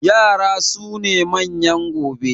yara sune manyan gobe